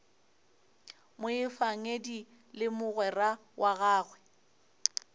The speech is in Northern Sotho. moefangedi le mogwera wa gagwe